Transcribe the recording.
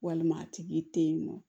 Walima tigi te yen nɔ